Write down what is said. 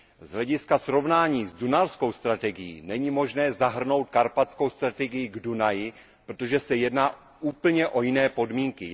Z hlediska srovnání s dunajskou strategií není možné zahrnout karpatskou strategii k Dunaji, protože se jedná úplně o jiné podmínky.